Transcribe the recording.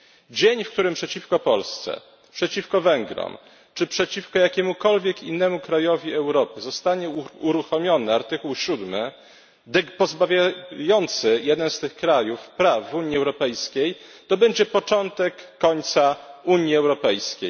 Dzień, w którym przeciwko Polsce, przeciwko Węgrom, czy przeciwko jakiemukolwiek innemu krajowi Europy zostanie uruchomiony artykuł 7 pozbawiający jeden z tych krajów praw w Unii Europejskiej, będzie początkiem końca Unii Europejskiej.